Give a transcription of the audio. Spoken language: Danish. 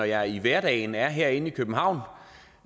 jeg i hverdagen er herinde i københavn